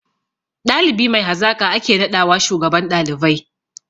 Ɗalibi mai hazaƙa ake naɗawa shugaban ɗalibai